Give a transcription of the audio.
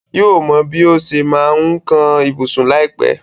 Yóò mọ bí ó ṣe máa ma kan ibùsùn láìpẹ́.